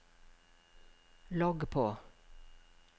logg på